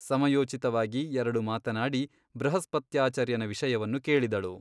ಸಮಯೋಚಿತವಾಗಿ ಎರಡು ಮಾತನಾಡಿ ಬೃಹಸ್ಪತ್ಯಾಚಾರ್ಯನ ವಿಷಯವನ್ನು ಕೇಳಿದಳು.